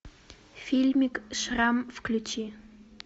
фильмик шрам включи